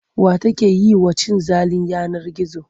Wa take yi wa cin zalin yanar gizo?